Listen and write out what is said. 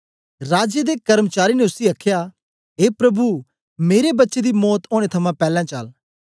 राजे दे कर्मचारी ने उसी आखया ऐ प्रभु मेरे बच्चे दी मौत ओनें थमां पैलैं चल